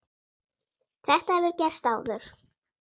Þetta hefur gerst áður.